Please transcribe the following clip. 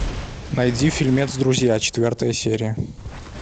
найди фильмец друзья четвертая серия